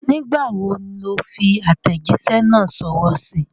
Nígbà wo ló fi àtẹ̀jísẹ́ náà sọwọ́ síí?